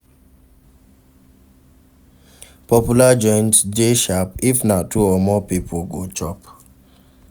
Popular joints de sharp if na two or more pipo go chop